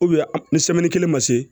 ni kelen ma se